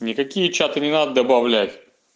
никакие чаты не надо добавлять